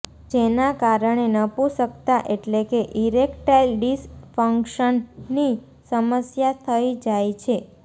જેના કારણે નપુંસકતા એટલે કે ઇરેક્ટાઇલ ડિસફંક્શનની સમસ્યા થઈ જાય છે